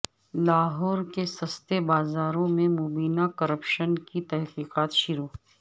لاہور کے سستے بازاروں میں مبینہ کرپشن کی تحقیقات شروع